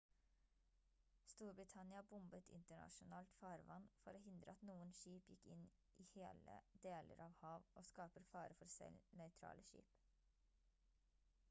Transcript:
storbritannia bombet internasjonalt farvann for å hindre at noen skip gikk inn i hele deler av hav og skaper fare for selv nøytrale skip